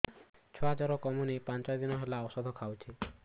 ଛୁଆ ଜର କମୁନି ପାଞ୍ଚ ଦିନ ହେଲାଣି ଔଷଧ ଖାଉଛି